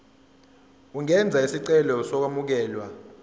ungenza isicelo sokwamukelwa